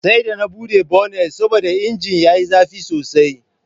Sai da na bude bonnet saboda injin yayi zafi sosai.